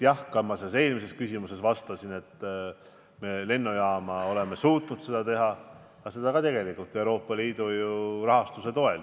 Nagu ma eelmisele arupärimisele vastates märkisin, lennujaamani viiva trammiliini me oleme suutnud ka teha tegelikult Euroopa Liidu rahastuse toel.